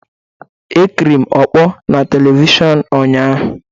Ekiri m ọkpọ na Televishọnụ ụnyaahụ.